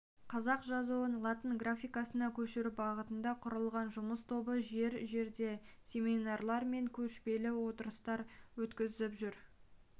қазақ жазуын латын графикасына көшіру бағытында құрылған жұмыс тобы жер-жерде семинарлар мен көшпелі отырыстар өткізіп жүр